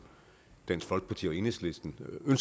dansk folkeparti og enhedslisten men